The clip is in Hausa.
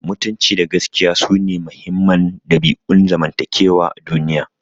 Mutunci da gaskiya sune muhimman dabi'un zamantakewa a duniya.